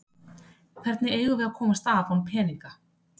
Hvernig eigum við að komast af án peninga?